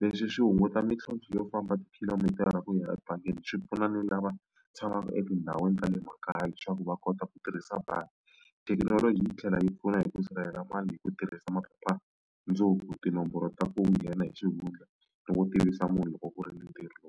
Leswi swi hunguta mintlhontlho yo famba tikhilomitara ku hira ebangini swi pfuna ni lava tshamaka etindhawini ta le makaya leswaku va kota ku tirhisa bangi. Thekinoloji yi tlhela yi pfuna hi ku sirhelela mali hi ku tirhisa tinomboro ta ku nghena hi xivundla ni ku tivisa munhu loko ku ri ni ntirho.